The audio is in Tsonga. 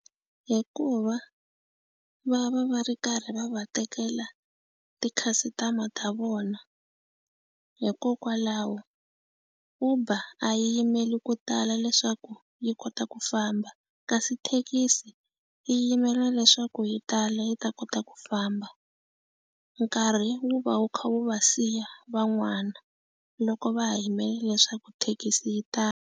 Hikuva va va va ri karhi va va tekela ti-customer ta vona, hikokwalaho Uber a yi yimeli ko tala leswaku yi kota ku ku famba. Kasi thekisi yi yimela leswaku yi tala yi ta kota ku famba. Nkarhi wu va wu kha wu va siya van'wana loko va ha yimele leswaku thekisi yi tala.